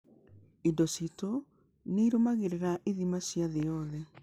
Indo citũ nĩ irũmagĩrĩra ithimi cia thĩ yothe.